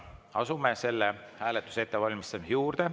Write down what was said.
Asume selle hääletuse ettevalmistamise juurde.